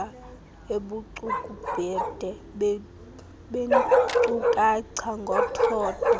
ubucukubhede beenkcukacha ngothotho